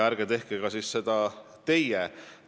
Ärge teie seda otsust tehke.